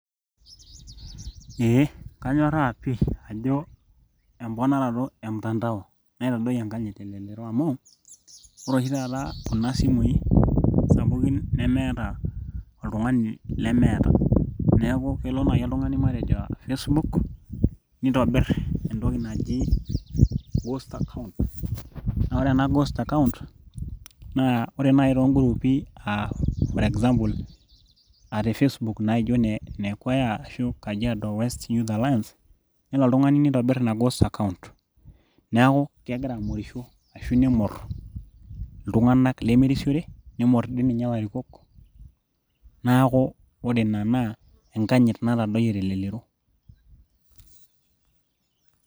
Eeh kanyoraaa pih ajo emponorato e mtandao naitadoyio enkanyit telelero amu ore oshi taata kuna simui sapukin nemeeta oltung'ani lemeeta neeku kelo naaji oltung'ani majo Facebook nitobir entoki naji ghost account naa ore ena ghost account naa ore naaji too groupi aa for example aa te Facebook naijo ine kweya ashuu kajiado west youth alliance